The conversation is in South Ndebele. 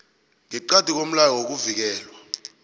ngeqadi komlayo wokuvikelwa